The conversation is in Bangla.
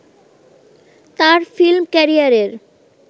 তার ফিল্ম ক্যারিয়ারের